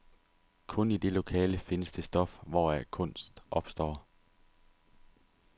Kun i det lokale findes det stof, hvoraf kunst opstår.